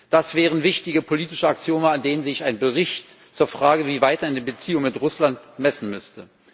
Das wären wichtige politische Axiome, an denen sich ein Bericht zur Frage, wie es weitergehen soll in den Beziehungen mit Russland, messen müsste.